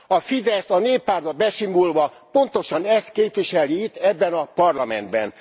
A FIDESZ a Néppártba besimulva pontosan ezt képviseli itt, ebben a Parlamentben.